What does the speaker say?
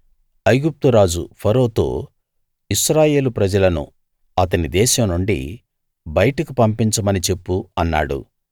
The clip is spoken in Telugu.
ఐగుప్తు రాజు ఫరోతో ఇశ్రాయేలు ప్రజలను అతని దేశం నుండి బయటకు పంపించమని చెప్పు అన్నాడు